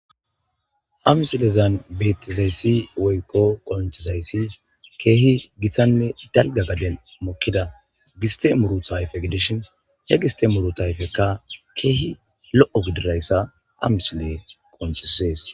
Ha misilezan bettizayssi woykko qonchizayssi keehi githanne dalga gade mokkida giste muru tayfe gidishin he gistemuru tayfekka keehi lo7o gidirayssa amisile qonchisees